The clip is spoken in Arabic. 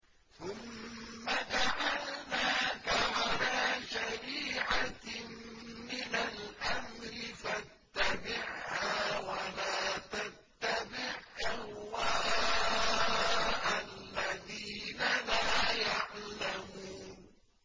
ثُمَّ جَعَلْنَاكَ عَلَىٰ شَرِيعَةٍ مِّنَ الْأَمْرِ فَاتَّبِعْهَا وَلَا تَتَّبِعْ أَهْوَاءَ الَّذِينَ لَا يَعْلَمُونَ